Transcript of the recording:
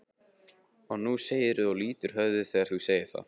Og nú segirðu og lýtur höfði þegar þú segir það.